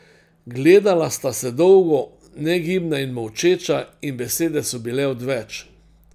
Gledala sta se dolgo, negibna in molčeča, in besede so bile odveč.